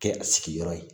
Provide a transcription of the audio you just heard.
Kɛ a sigiyɔrɔ ye